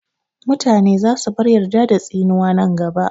Mutane za su bar yarda da tsinuwa nan gaba